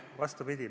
Vastupidi.